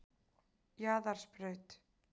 Jaðarsbraut